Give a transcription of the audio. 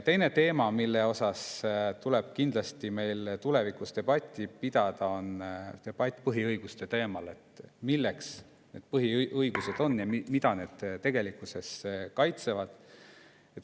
Teine teema, mille üle tuleb kindlasti meil tulevikus debatti pidada, on põhiõigused: milleks need põhiõigused on ja mida need tegelikkuses kaitsevad?